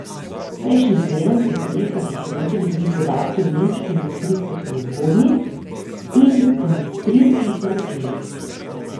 Prejšnji teden so prijetno presenetili tudi podatki o nemški industrijski proizvodnji in industrijskih naročilih.